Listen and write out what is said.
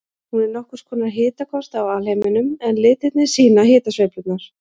Hún er nokkurs konar hitakort af alheiminum en litirnir sýna hitasveiflurnar.